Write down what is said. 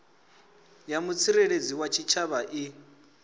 ya mutsireledzi wa tshitshavha i